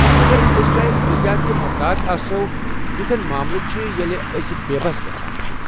مگر أسۍ چاہے کۭتیٛاہ تہِ محتاط آسَو، یتھٮ۪ن ماملن چھِ ییلہِ أسۍ بےٚ بس گژھان چھِ ۔